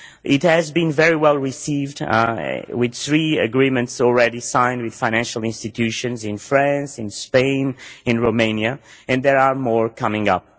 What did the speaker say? It has been very well received with three agreements already signed with financial institutions in France, Spain and Romania, and there are more coming up.